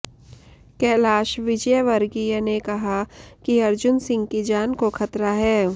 कैलाश विजयवर्गीय ने कहा कि अर्जुन सिंह की जान को खतरा है